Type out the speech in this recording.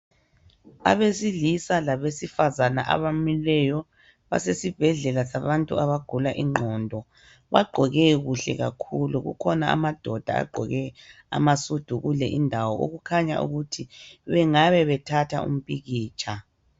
Abesilisa labesifazana abamileyo basesibhedlela sabantu abagula ingqondo. Bagqoke kuhle kakhulu, kukhona amadoda agqoke amasudu kule indawo okukhanya ukuthi bengabe bethatha umpikitsha.